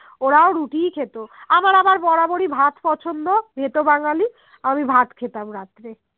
ওরাও রুটিই খেত আমার আবার বরাবরই ভাত পছন্দ ভেতো বাঙালি আমি ভাত খেতাম রাত্রে